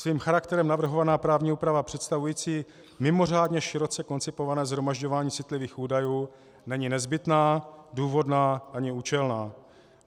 Svým charakterem navrhovaná právní úprava představující mimořádně široce koncipované shromažďování citlivých údajů není nezbytná, důvodná ani účelná.